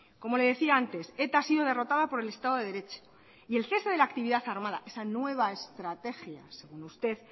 como le decía antes eta ha sido derrotada por el estado de derecho y el cese de la actividad armada esa nueva estrategia según usted